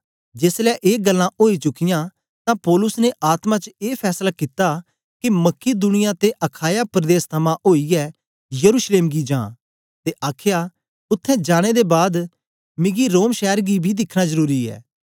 जेसलै ए गल्लां ओई चुकियां तां पौलुस ने आत्मा च ए फैसला कित्ता के मकिदुनिया ते अखाया प्रदेस थमां ओईयै यरूशलेम गी जां ते आखया उत्थें जाने दे बाद मिकी रोम शैर गी बी दिखना जरुरी ऐ